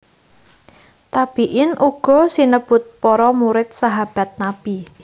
Tabiin uga sinebut para murid Sahabat Nabi